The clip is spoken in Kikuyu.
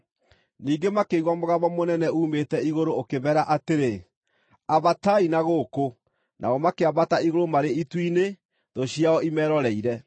Ningĩ makĩigua mũgambo mũnene uumĩte igũrũ ũkĩmeera atĩrĩ, “Ambatai na gũkũ.” Nao makĩambata igũrũ marĩ itu-inĩ, thũ ciao imeroreire.